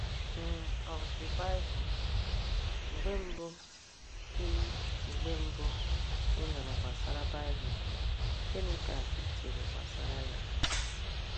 n of the Bible? Mgbe mbụ ị Mgbe mbụ ị nụrụ gbasara Baịbụl, gịnị ka i chere gbasara ya?